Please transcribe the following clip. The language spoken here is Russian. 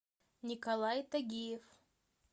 николай тагиев